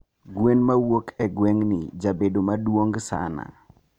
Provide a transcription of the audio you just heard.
gwen mawuok e gwengni jabedo maduong sana